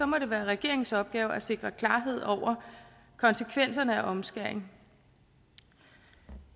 må det være regeringens opgave at sikre klarhed over konsekvenserne af omskæring